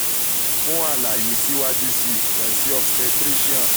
fun alaye siwaju sii kan si obstetrician